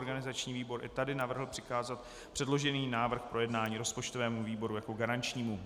Organizační výbor i tady navrhl přikázat předložený návrh k projednání rozpočtovému výboru jako garančnímu.